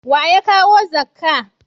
Wa ya kawo zakka